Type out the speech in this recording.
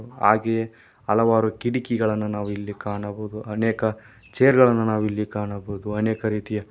ಹಾಗೆ ಹಲವಾರು ಕಿಟಕಿಗಳನ್ನು ನಾವು ಇಲ್ಲಿ ಕಾಣಬಹುದು ಅನೇಕ ಚೇರ್ ಗಳನ್ನು ನಾವಿಲ್ಲಿ ಕಾಣಬಹುದು ಅನೇಕ ರೀತಿಯ --